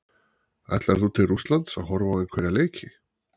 Ætlar þú til Rússlands að horfa á einhverja leiki?